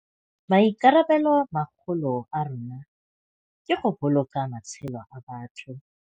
Maikarabelomagolo a rona ke go boloka matshelo a batho.